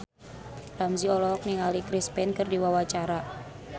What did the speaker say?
Ramzy olohok ningali Chris Pane keur diwawancara